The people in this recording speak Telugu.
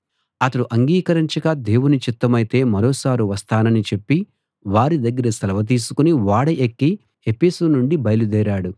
అతడు అంగీకరించక దేవుని చిత్తమైతే మరొకసారి వస్తానని చెప్పి వారి దగ్గర సెలవు తీసుకుని ఓడ ఎక్కి ఎఫెసు నుండి బయలుదేరాడు